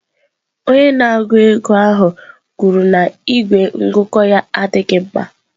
Onye na-ego ego ahụ kwuru na igwe ngụkọ ya adịghị mma.